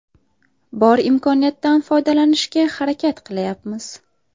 Bor imkoniyatdan foydalanishga harakat qilayapmiz.